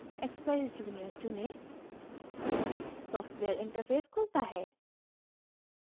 expeyes junior चुनें software interface खुलता है